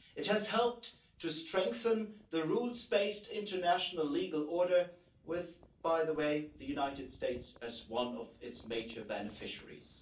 It has helped to strengthen the rules based international legal order with, by the way, the United States as one of its major beneficiaries.